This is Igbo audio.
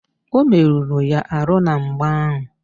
O meruru ya arụ na mgba ahụ